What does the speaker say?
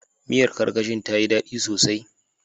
Miyar Karkashin ta yi dadi sosai.